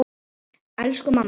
Elsku mamma.